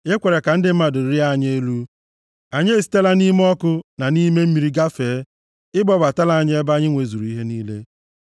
I kwere ka ndị mmadụ rịa anyị elu; anyị esitela nʼime ọkụ na nʼime mmiri gafee. Ị kpọbatala anyị ebe anyị nwezuru ihe niile.